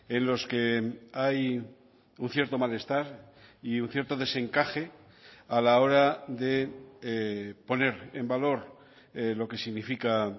en los que hay un cierto malestar y un cierto desencaje a la hora de poner en valor lo que significa